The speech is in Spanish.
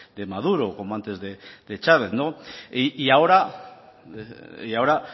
de maduro como antes de chávez y ahora y ahora